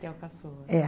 Que é o caçula. É.